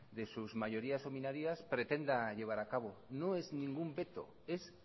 de sus mayorías o minorías pretenda llevar a cabo no es ningún veto es